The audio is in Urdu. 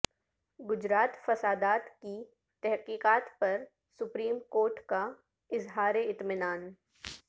گجرات فسادات کی تحقیقات پر سپریم کورٹ کا اظہار اطمینان